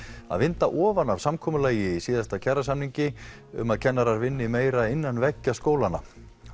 að vinda ofan af samkomulagi í síðasta kjarasamningi um að kennarar vinni meira innan veggja skólanna